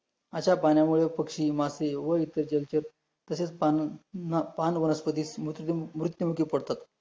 अशा पाण्यामुळे पक्षी मासे व इतर जलचर, तसेच पान न पान पानवनस्पती मृत्युमुखी पडतात